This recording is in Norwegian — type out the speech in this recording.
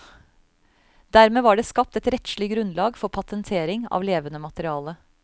Dermed var det skapt et rettslig grunnlag for patentering av levende materiale.